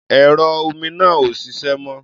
Ẹ̀rọ omi náà ò ṣiṣẹ́ mọ́.